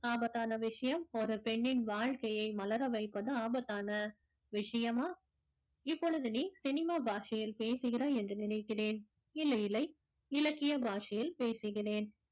ஆபத்தான விஷயம் ஒரு பெண்ணின் வாழ்க்கையை மலர வைப்பது ஆபத்தான விஷயமா இப்பொழுது நீ சினிமா பாஷையில் பேசுகிறாய் என்று நினைக்கிறேன் இல்லை இல்லை இலக்கிய பாஷையில் பேசுகிறேன்